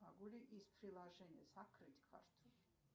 могу ли из приложения закрыть карту